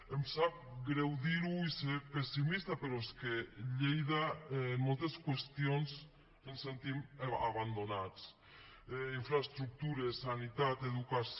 em sap greu dir ho i ser pessimista però és que a lleida en moltes qüestions ens sentim abandonats infraestructures sanitat educació